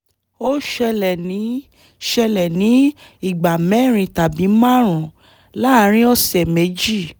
ó ṣẹlẹ̀ ní ṣẹlẹ̀ ní ìgbà mẹ́rin tàbí márùn-ún láàárín ọ̀sẹ̀ méjì